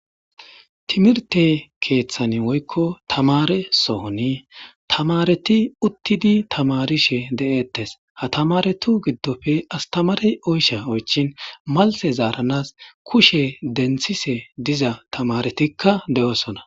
Timirte keeththani woykko tamare sohoni tamareti uttidi tamarishe de'eettes ha tamaretu giddofe astamarey oysha oychin malte zaaranas kushe denthise diza tamaretikka de'osona.